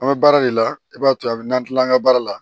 An bɛ baara de la i b'a to a bɛ n'an tila an ka baara la